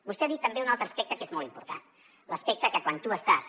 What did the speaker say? vostè ha dit també un altre aspecte que és molt important l’aspecte que quan tu estàs